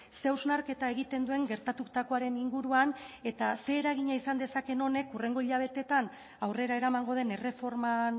ze hausnarketa egiten duen gertatutakoaren inguruan eta ze eragina izan dezakeen honek hurrengo hilabeteetan aurrera eramango den erreforman